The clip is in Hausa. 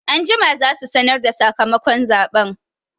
Anjima za su sanarda sakamakon zaɓen